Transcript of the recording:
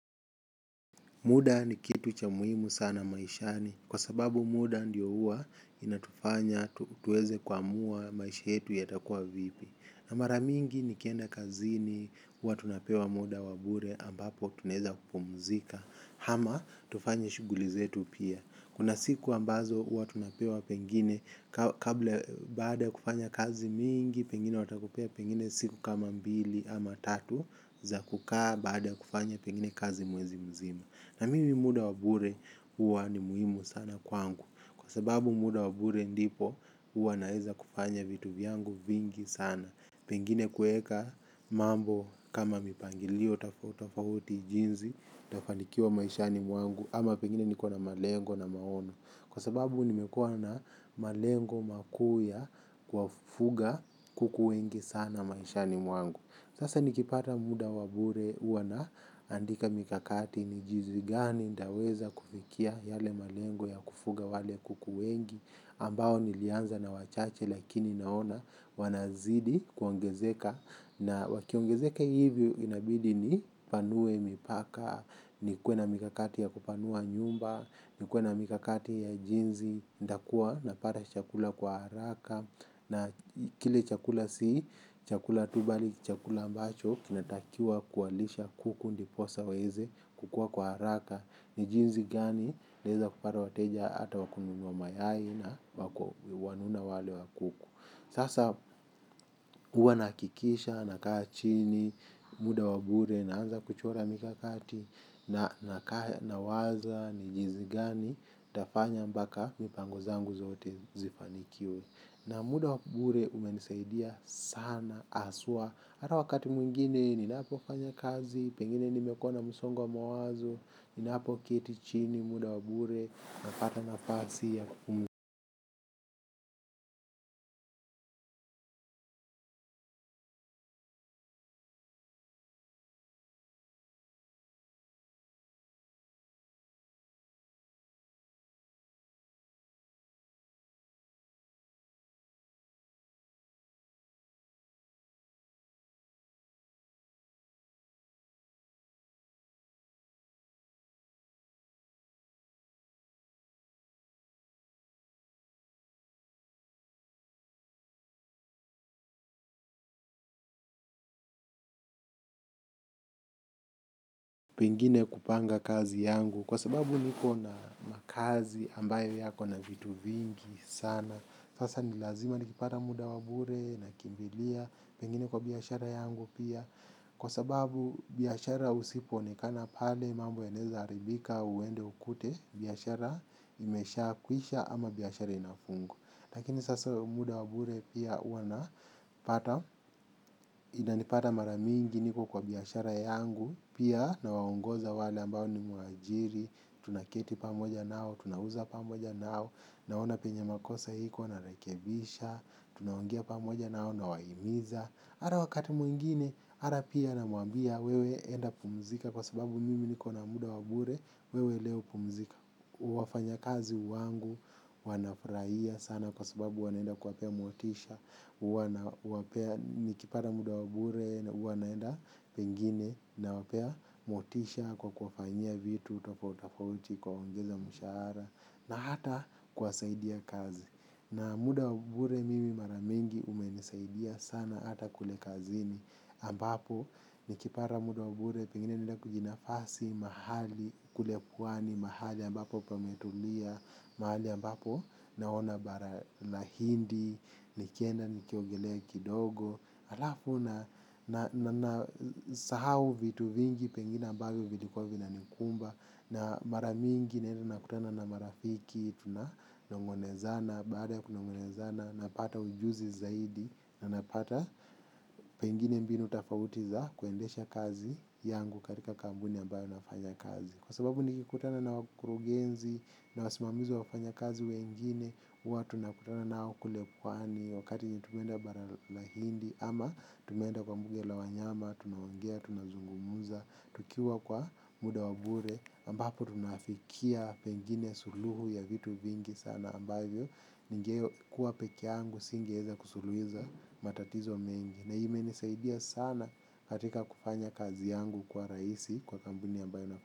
Muda ni kitu cha muhimu sana maishani kwa sababu muda ndiyo hua inatufanya tuweze kuamua maisha yetu yatakuwa vipi. Na maramingi nikienda kazini huwa tunapewa muda wabure ambapo tunaeza kupumzika ama tufanye shughuli zetu pia. Kuna siku ambazo huwa tunapewa pengine baada ya kufanya kazi mingi pengine watakupea pengine siku kama mbili ama tatu za kukaa baada kufanya pengine kazi mwezi mzima. Na mimi muda wabure huwa ni muhimu sana kwangu. Kwa sababu muda wabure ndipo huwa naeza kufanya vitu vyangu vingi sana. Pengine kueka mambo kama mipangilio tofauti tofauti jinsi. Nitafanikiwa maishani mwangu. Ama pengine nikona malengo na maono. Kwa sababu nimekuwa na malengo makuu ya kuwafuga kuku wengi sana maishani mwangu. Sasa nikipata muda wabure huwa naandika mikakati n jinsi gani nitaweza kufikia yale malengo ya kufuga wale kuku wengi ambao nilianza na wachache lakini naona wanazidi kuongezeka. Na wakiongezeka hivyo inabidi ni panue mipaka, nikuwe na mikakati ya kupanua nyumba, nikuwe na mikakati ya jinsi nitakuwa na pata chakula kwa haraka na kile chakula si chakula tu mbali chakula ambacho kinatakiwa kuwalisha kuku ndiposa waweze kukua kwa haraka ni jinsi gani naeza kupata wateja hata wakununua mayai na wanuna wale wakubwa sasa huwa nahakikisha nakaa chini muda wabure naanza kuchora mikakati nawaza ni jinsi gani tafanya mpaka mipango zangu zote zifanikiwe. Na muda wabure umenisaidia sana haswaa hata wakati mwingine ninapo fanya kazi. Pengine nimekuwa na msongo wa mawazo. Ninapo ketichini muda wabure napata nafasi ya ku pengine kupanga kazi yangu. Kwa sababu niko na makazi ambayo yako na vitu vingi sana. Sasa nilazima nikipata muda wabure na kimbilia pengine kwa biashara yangu pia. Kwa sababu biashara usipo onekana pale mambo yanaeza haribika uende ukute biashara imesha kwisha ama biashara inafungwa. Lakini sasa muda wabure pia huwa napata. Inanipata maramingi niko kwa biashara yangu. Pia na waongoza wale ambao nime waajiri. Tunaketi pamoja nao, tunauza pamoja nao. Naona penye makosa iko narekebisha. Tunaongea pamoja nao na wahimiza. Hata wakati mwingine, hata pia na mwambia wewe enda pumzika kwa sababu mimi nikona muda wabure, wewe leo pumzika. Wafanya kazi wangu, wanafurahia sana kwa sababu wanaenda kuwapea motisha, huwa nawapea nikipata muda wabure, huwa naenda pengine na wapea motisha kwa kuwafanyia vitu, tofauti tofauti kuwaongeza mshahara na hata kuwasaidia kazi. Na muda wabure mimi maramingi umenisaidia sana hata kule kazini ambapo nikipata muda wabure pengine naenda kujinafasi mahali kule pwani mahali ambapo pametulia mahali ambapo naona na hindi nikienda nikiogelea kidogo alafu na sahau vitu vingi pengine ambavyo vilikuwa vina nikumba. Na maramingi naenda nakutana na marafiki, tuna nongonezana, baada ya kunongonezana, napata ujuzi zaidi. Na napata pengine mbinu tofauti za kuendesha kazi yangu katika kampuni ambayo nafanya kazi. Kwa sababu nikikutana na wakurugenzi na wasimamizi wa wafanya kazi wengine HUwa tunakutana nao kule pwani wakati wenye tumeenda bara la hindi ama tumeenda kwa mbuge la wanyama tunaongea, tunazungumuza, tukiwa kwa muda wabure ambapo tunafikia pengine suluhu ya vitu vingi sana ambavyo nigekuwa pekeyangu singeweza kusuluiza matatizo mengi. Na imenisaidia sana katika kufanya kazi yangu kwa rahisi kwa kampuni ambayo na.